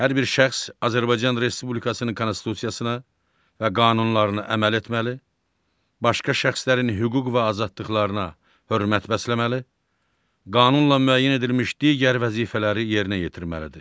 Hər bir şəxs Azərbaycan Respublikasının konstitusiyasına və qanunlarına əməl etməli, başqa şəxslərin hüquq və azadlıqlarına hörmət bəsləməli, qanunla müəyyən edilmiş digər vəzifələri yerinə yetirməlidir.